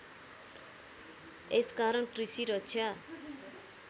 यस कारण कृषि रक्षा